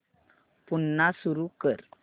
पुन्हा सुरू कर